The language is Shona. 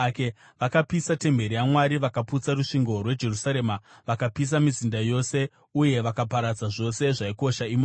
Vakapisa temberi yaMwari vakaputsa rusvingo rweJerusarema; vakapisa mizinda yose uye vakaparadza zvose zvaikosha imomo.